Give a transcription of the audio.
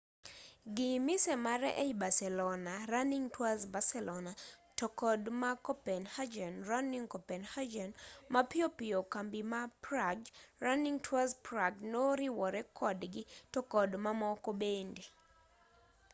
gi mise mare ei barcelona running tours barcelona to kod ma copenhagen running coppenhagen mapiyo piyo kambi ma prague running tours prague noriwore kodgi to kod mamoko bende